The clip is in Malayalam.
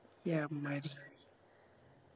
എമ്മാരി